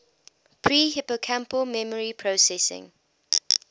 pre hippocampal memory processing